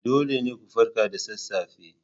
Dole ne ku farka da sassafe